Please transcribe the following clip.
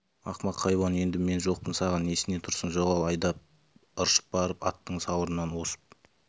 ақымақ хайуан енді мен жоқпын саған несіне тұрсың жоғал айда деп ыршып барып аттың сауырынан осып